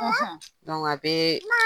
a be